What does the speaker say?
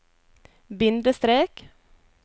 bindestrek